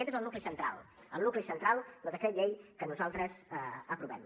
aquest és el nucli central el nucli central del decret llei que nosaltres aprovem